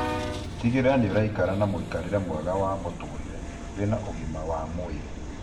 Tigĩrĩra nĩũraikara na mũikarĩre mwega wa mũtũrire wĩna ũgima wa mwĩrĩ